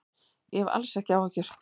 Ég hef alls ekki áhyggjur.